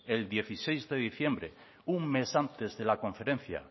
el dieciséis de diciembre un mes antes de la conferencia